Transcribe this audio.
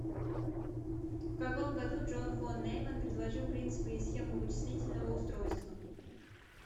в каком году джон фон нейман предложил принципы и схему вычислительного устройства